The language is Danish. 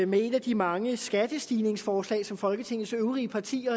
med et af de mange skattestigningsforslag som folketingets øvrige partier